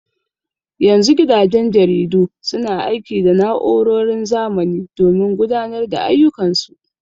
Yanzu gidajen jaridu suna aiki da na'urorin zamani domin gudanar da ayyukan su.